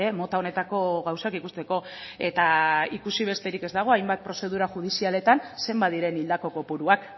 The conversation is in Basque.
mota honetako gauzak ikusteko eta ikusi besterik ez dago hainbat prozedura judizialetan zenbat diren hildako kopuruak